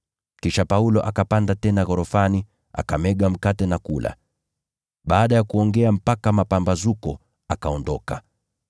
Kisha Paulo akapanda tena ghorofani, akamega mkate na kula. Baada ya kuongea mpaka mapambazuko, akaondoka.